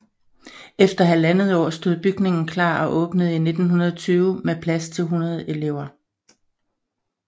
Efter halvandet år stod bygningen klar og åbnede i 1920 med plads til 100 elever